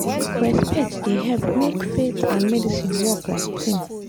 respect dey help make faith and medicine work like team.